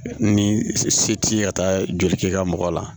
Ni se t'i ye ka taa joli k'i ka mɔgɔ la